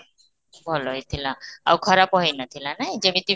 ଭଲ ହେଇଥିଲା, ଆଉ ଖରାପ ହେଇ ନ ଥିଲା ନାଇ ଯେମିତି